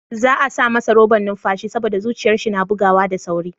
Za'a sa masa roban numfashi saboda zuciyar shi na bugawa da sauri.